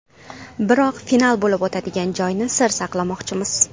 Biroq final bo‘lib o‘tadigan joyni sir saqlamoqchimiz.